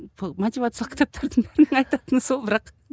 бұл мотивациялық кітаптардың бірақ